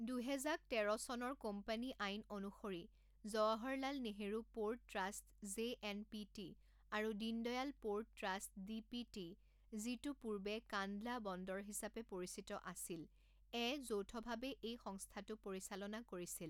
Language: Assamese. দুহেজাক তেৰ চনৰ কোম্পানী আইন অনুসৰি Jawaharlal Nehru port trust JNPT আৰু দীনদয়াল প'ৰ্ট ট্ৰাষ্ট ডিপিটি যিটো পূৰ্বে কান্দলা বন্দৰ হিচাপে পৰিচিত আছিল এ যৌথভাৱে এই সংস্থাটো পৰিচালনা কৰিছিল।